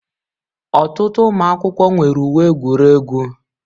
Ọtụtụ ụmụ akwụkwọ nwere uwe egwuregwu